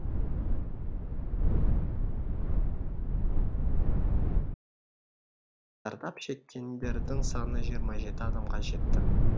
зардап шеккендердің саны жиырма жеті адамға жетті